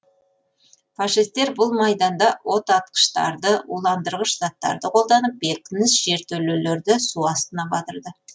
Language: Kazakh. фашистер бұл майданда отатқыштарды уландырғыш заттарды қолданып бекініс жертөлелерді су астына батырды